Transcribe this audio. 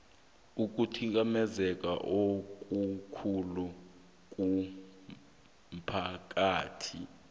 ukuthikamezeka okukhulu komphakathi